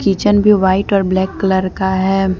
Kitchen भी white और black colour का है।